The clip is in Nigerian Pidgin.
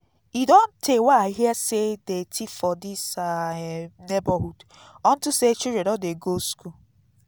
e don tey wey i hear say dey thief for dis our um neighborhood unto say children don dey go school